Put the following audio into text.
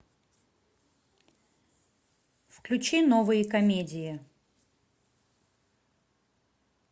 включи новые комедии